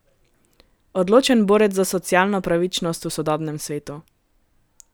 Odločen borec za socialno pravičnost v sodobnem svetu.